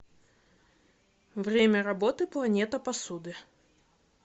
время работы планета посуды